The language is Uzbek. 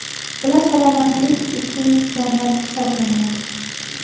Bular salomatlik uchun zarar hisoblanadi.